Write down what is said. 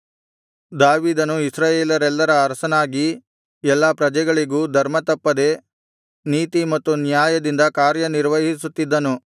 ದಾವೀದನು ಇಸ್ರಾಯೇಲರೆಲ್ಲರ ಅರಸನಾಗಿ ಎಲ್ಲಾ ಪ್ರಜೆಗಳಿಗೂ ಧರ್ಮತಪ್ಪದೆ ನೀತಿ ಮತ್ತು ನ್ಯಾಯದಿಂದ ಕಾರ್ಯ ನಿರ್ವಹಿಸುತ್ತಿದ್ದನು